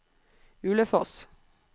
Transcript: Ulefoss